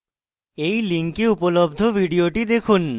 এই link উপলব্ধ video দেখুন